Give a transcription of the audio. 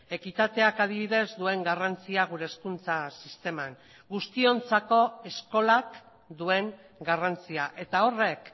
ekitateak adibidez duen garrantzia gure hezkuntza sisteman guztiontzako eskolak duen garrantzia eta horrek